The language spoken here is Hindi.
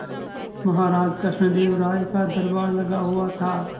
महाराज कृष्णदेव राय का दरबार लगा हुआ था